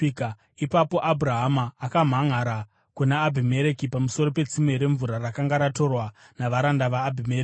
Ipapo Abhurahama akamhanʼara kuna Abhimereki pamusoro petsime remvura rakanga ratorwa navaranda vaAbhimereki.